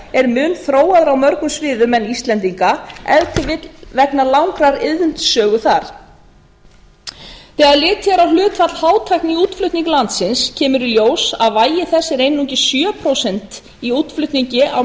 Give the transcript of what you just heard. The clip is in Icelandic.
er mun þróaðra á mörgum sviðum en íslendinga ef til vill vegna langrar iðnsögu þar þegar litið er á hlutfall hátækni í útflutningi landsins kemur í ljós að vægi þess er einungis sjö prósent í útflutningi á